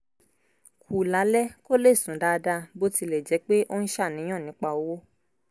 kù lálẹ́ kó lè sùn dáadáa bó tilẹ̀ jẹ́ pé ó ń ṣàníyàn nípa owó